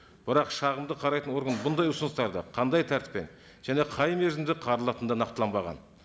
бірақ шағымды қарайтын орган бұндай ұсыныстарды қандай тәртіппен және қай мерзімді қаралатыны да нақтыланбаған